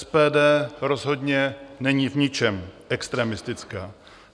SPD rozhodně není v ničem extremistická.